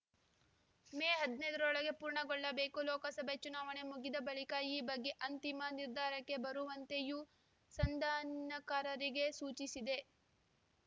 ಮೇ ಹದಿನೈದರೊಳಗೆ ಪೂರ್ಣಗೊಳ್ಳಬೇಕು ಲೋಕಸಭೆ ಚುನಾವಣೆ ಮುಗಿದ ಬಳಿಕ ಈ ಬಗ್ಗೆ ಅಂತಿಮ ನಿರ್ಧಾರಕ್ಕೆ ಬರುವಂತೆಯೂ ಸಂಧಾನಕಾರರಿಗೆ ಸೂಚಿಸಿದೆ